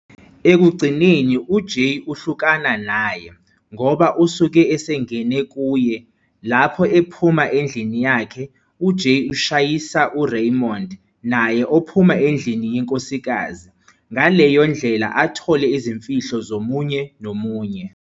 Ekugcineni uJay uhlukana naye, ngoba usuke esengene kuye, lapho ephuma endlini yakhe, uJay ushayisa uRaymond, naye ophuma endlini yenkosikazi, ngaleyo ndlela athole izimfihlo zomunye nomunye.